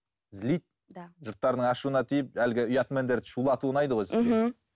злит да жұрттардың ашуына тиіп әлгі ұятмендерді шулату ұнайды ғой сізге мхм